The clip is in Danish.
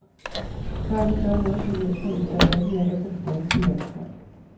Før vi gør noget som helst, må vi tage hatten af for det danske landshold.